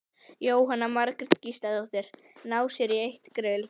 Jóhanna Margrét Gísladóttir: Ná sér í eitt grill?